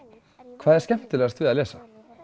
hvað er skemmtilegast við að lesa